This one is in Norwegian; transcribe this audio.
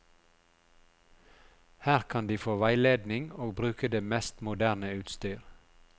Her kan de få veiledning og bruke det mest moderne utstyr.